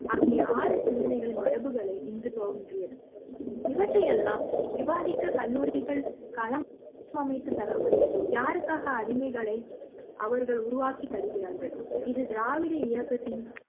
ஆகிய ஆறு சிந்தனை மரபுகளை இங்கு தோன்றியது இவற்றை யெல்லாம் விவாதிக்க கல்லூரிகள் களம் அமைத்து தராமல் யாருக்காக அடிமைகளை அவர்கள் உருவாக்கி தருகிறார்கள் இது திராவிட இயக்கத்தின்